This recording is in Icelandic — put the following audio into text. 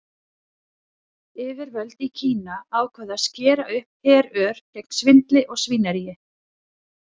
Yfirvöld í Kína ákváðu að skera upp herör gegn svindli og svínaríi.